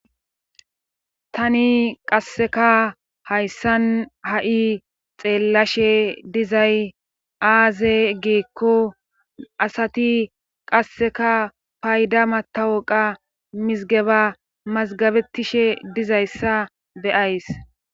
tani qasseka hayssan ha'i xeellashe dizay aaze geekko asati qasseka payda matawoqa mizgeba mazgabettishe dizayssa be'ays